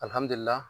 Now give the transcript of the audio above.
Alihamdulila